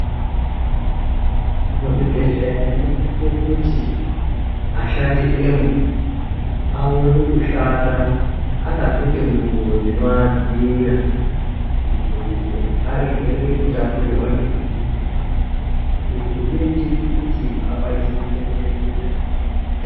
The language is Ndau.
Muzvibhedhlera munosise kuti, ashandi emwo ,aone kushanda akapfeke ngxubo dzinoadziirira, kuitire kuti arege kutapurirwa ngezvirwere. Izvi zvinoitire kuti akwanise kuchengetedze utano hwavo.